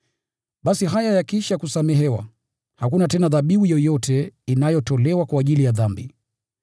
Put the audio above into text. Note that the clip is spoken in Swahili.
Basi haya yakiisha kusamehewa, hakuna tena dhabihu yoyote inayotolewa kwa ajili ya dhambi.